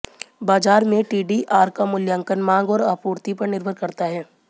बाजार में टीडीआर का मूल्यांकन मांग और आपूर्ति पर निर्भर करता है